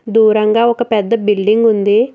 దూరంగా ఒక పెద్ద బిల్డింగ్ ఉంది.